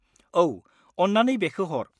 औ, अन्नानै बेखो हर।